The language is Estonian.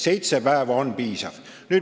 Seitse päeva on piisav.